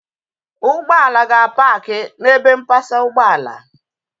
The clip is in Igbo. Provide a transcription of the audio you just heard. Ụgbọala ga-apaakị n'ebe mpasa ụgbọala